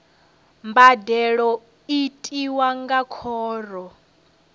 mbadelo i tiwa nga khoro